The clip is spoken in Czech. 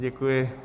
Děkuji.